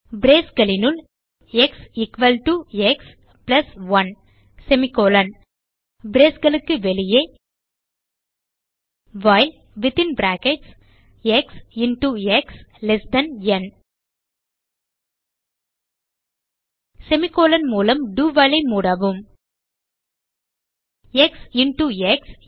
braceகளினுள் x equal to x plus 1 braceகளுக்கு வெளியே while x into x ந் semi கோலோன் மூலம் do while ஐ மூடவும் எக்ஸ் இன்டோ எக்ஸ்